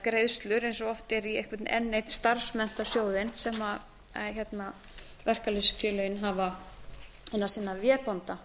greiðslur eins og oft er í einhvern enn einn starfsmenntasjóðinn sem verkalýðsfélögin hafa innan sinna vébanda